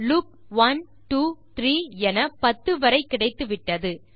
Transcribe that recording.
loop 123 என 10 வரை கிடத்துவிட்டது